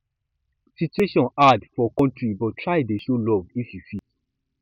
situation hard for kontry but try dey show luv if yu fit